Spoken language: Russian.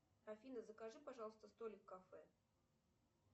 афина закажи пожалуйста столик в кафе